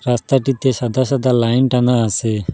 রাস্তাটিতে সাদা সাদা লাইন টানা আসে।